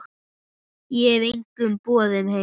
Ég hef engum boðið heim.